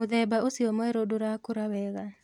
Mũthemba ũcio mwerũ ndũrakũra wega